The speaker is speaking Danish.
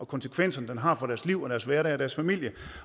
konsekvenser den har for deres liv deres hverdag og deres familie